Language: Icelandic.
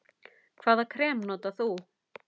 Hvaða krem notar þú?